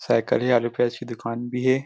Cycle हे आलू प्याज के दुकान भी हे।